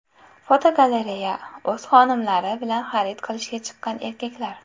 Fotogalereya: O‘z xonimlari bilan xarid qilishga chiqqan erkaklar.